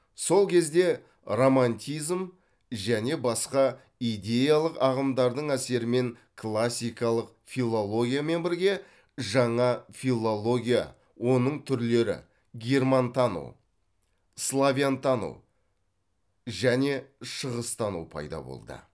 сол кезде романтизм және басқа идеялық ағымдардың әсерімен классикалық филологиямен бірге жана филология оның түрлері германтану славянтану және шығыстану пайда болды